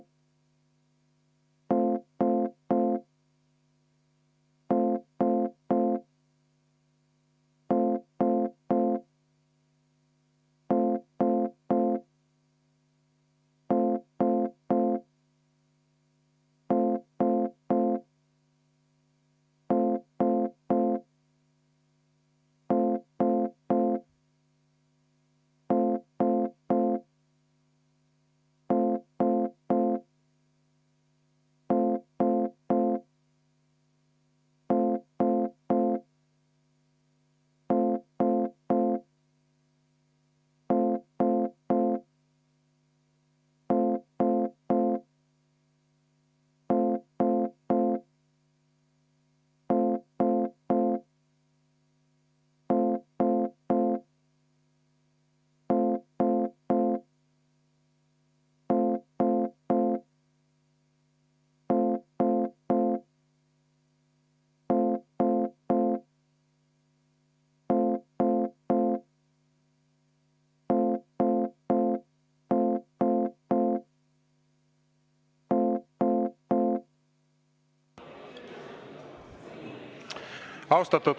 Austatud kolleegid!